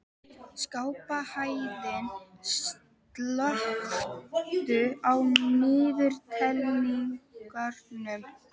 Skarphéðinn, slökktu á niðurteljaranum.